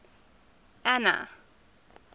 anna